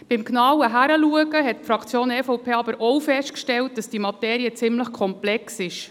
Beim genauen Hinsehen hat die Fraktion EVP aber auch festgestellt, dass diese Materie ziemlich komplex ist.